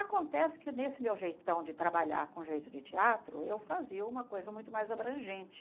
Acontece que nesse meu jeitão de trabalhar com jeito de teatro, eu fazia uma coisa muito mais abrangente.